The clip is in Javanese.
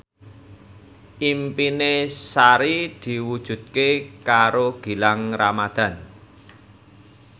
impine Sari diwujudke karo Gilang Ramadan